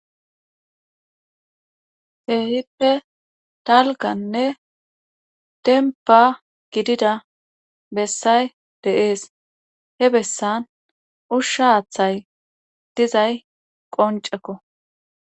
Keehippe talgganne dembba gidida bessay deees. he bessan ushsha haathay dizay qoncekko.